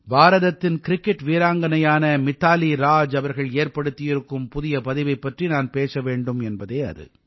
பாரதத்தின் கிரிக்கெட் வீராங்கனையான மித்தாலி ராஜ் அவர்கள் ஏற்படுத்தியிருக்கும் புதிய பதிவைப் பற்றி நான் பேச வேண்டும் என்பதே அது